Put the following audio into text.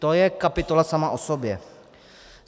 To je kapitola sama o sobě.